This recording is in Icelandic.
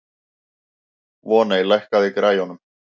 Voney, lækkaðu í græjunum.